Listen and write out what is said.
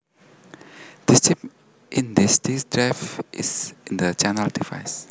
This chip in this disk drive is the channel device